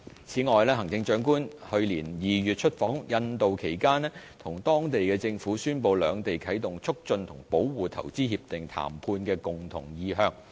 此外，行政長官在去年2月出訪印度期間，與當地政府宣布兩地啟動投資協定談判的共同意向。